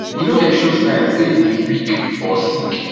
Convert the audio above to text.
e no dey show sign say e dey weak or sick